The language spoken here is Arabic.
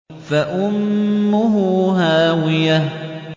فَأُمُّهُ هَاوِيَةٌ